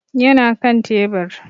Yana kan tebur